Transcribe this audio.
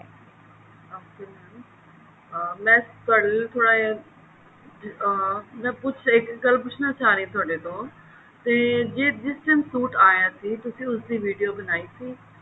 ਮੈਂ ਥੋੜਾ ਜਿਹਾ ਅਹ ਮੈਂ ਪੁੱਛਨਾ ਚਾਹ ਰਹੀ ਹਾਂ ਇੱਕ ਗੱਲ ਤੁਹਾਡੇ ਤੋਂ ਤੇ ਜਿਸ ਦਿਨ suit ਆਇਆ ਸੀ ਤੁਸੀਂ ਉਸਦੀ video ਬਣਾਈ ਸੀ